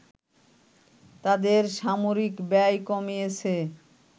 তাদের সামরিক ব্যয় কমিয়েছে